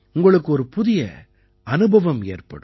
உங்களுக்கு ஒரு புதிய அனுபவம் ஏற்படும்